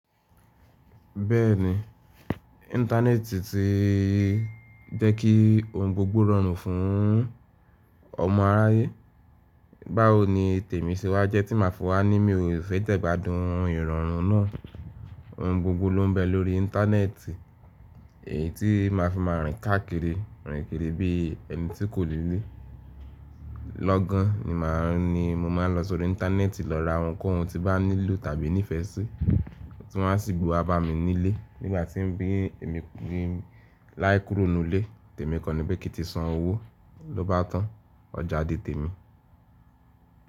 Bẹ́ẹ̀ni, internet ti jẹ́ kí ohun gbogbo rọrùn fún ọmọ aráyé. Báwo ni tèmi ṣe wá jẹ́ tí màá fi wà ní mi ò fẹ́ jẹ ìgbádùn ìrọ̀rùn náà. Ohun gbogbo ló ń bẹ lórí internet, èyí tí má a fi máa rìn káàkiri, rìn kiri bí ẹni tí kò ni lé. Lọ́gán ni mo máa ń lọ sórí internet lọ ra ohunkóhun tí bàá nílò tàbí nífẹsí, tí wọ́n á sì gbé wá bá mi nílé nígbà tí èmi láì kúrò nínú ilé. Tèmi kàn ni pé kí n ti san owó, ló bá tàn, ọjà di tèmi.